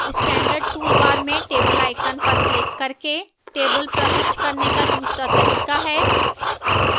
standard toolbar में table icon पर click करके table प्रविष्ट करने का दूसरा तरीका है